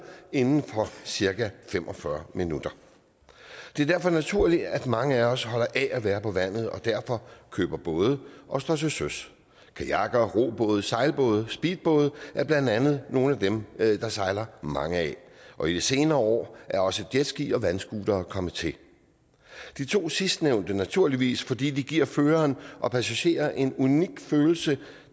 inden for cirka fem og fyrre minutter det er derfor naturligt at mange af os holder af at være på vandet og derfor køber både og står til søs kajakker robåde sejlbåde og speedbåde er blandt andet nogle af dem der sejler mange af og i de senere år er også jetski og vandscootere kommet til de to sidstnævnte naturligvis fordi de giver føreren og passagerer en unik følelse